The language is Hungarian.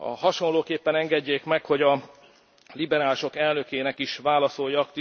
Hasonlóképpen engedjék meg, hogy a liberálisok elnökének is válaszoljak.